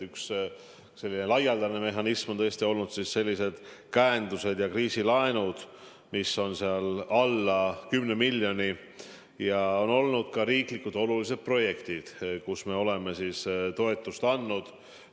Üks selline laialdane mehhanism on olnud käendused ja kriisilaenud, mida on alla 10 miljoni, ja on olnud ka riiklikult olulised projektid, mille jaoks me oleme toetust andnud.